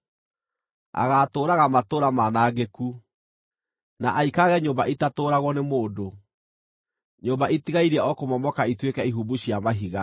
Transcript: agaatũũraga matũũra maanangĩku, na aikarage nyũmba itatũũragwo nĩ mũndũ, nyũmba itigairie o kũmomoka ituĩke ihumbu cia mahiga.